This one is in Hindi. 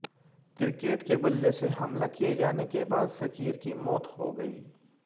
क्रिकेट के बल्ले से हमला किए जाने के बाद शकीर की मौत हो गई